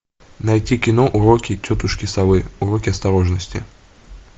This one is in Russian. найти кино уроки тетушки совы уроки осторожности